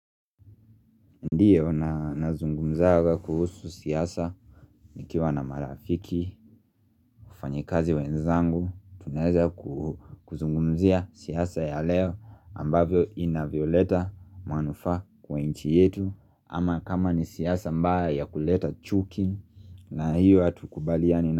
Ndiyo na zungumzaga kuhusu siasa nikiwa na marafiki, wafanyakazi wenzangu, tuneza kuzungumzia siasa ya leo ambavyo inavyoleta manufa kwa inchi yetu ama kama ni siasa mbaya kuleta chuki na hiyo atukubaliani.